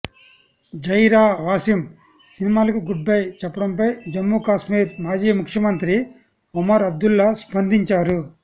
జైరా వాసిమ్ సినిమాలకు goodbye చెప్పడంపై జమ్మూ కాశ్మీర్ మాజీ ముఖ్యమంత్రి ఒమర్ అబ్దుల్లా స్పందించారు